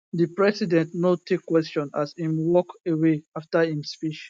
di president no take question as im walk away afta im speech